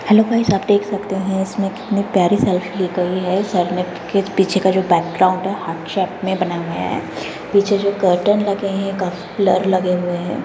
Hello guys आप देख सकते हैं इसमे कितनी प्यारी सेल्फी ली गई हैं साइड मे के पीछे का बैकग्राउंड हैं हार्ट शैप मे बने हुए हैं पीछे जो कर्टन लगे हैं काफी ब्लर लगे हुए हैं।